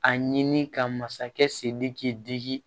A ɲini ka masakɛ sidiki k'i diki